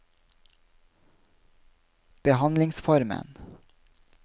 behandlingsformen